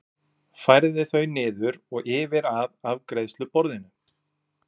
Færði þau niður og yfir að afgreiðsluborðinu.